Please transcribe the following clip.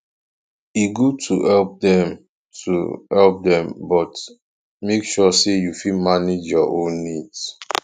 e good to help dem to help dem but make sure you fit manage your own needs